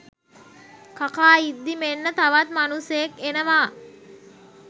කකා ඉද්දි මෙන්න තවත් මනුස්සයෙක් එනවා.